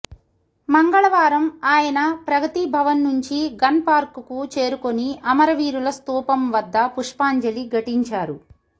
మంగళవారం ఆయన ప్రగతి భవన్ నుంచి గన్ పార్క్ కు చేరుకుని అమరవీరుల స్థూపం వద్ద పుప్షాంజలి ఘటించారు